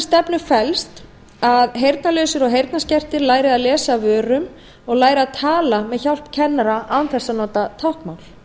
stefnu felst að heyrnarlausir og heyrnarskertir læri að lesa af vörum og læri að tala með hjálp kennara án þess að nota táknmál